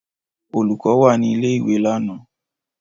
Olùkọ́ wà ní ilé-ìwé lánàá?